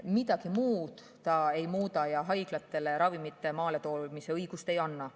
Midagi muud see ei muuda ja haiglatele ravimite maaletoomise õigust ei anna.